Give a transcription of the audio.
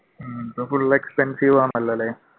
ഇന്ന് full expensive ആണല്ലോ അല്ലെ?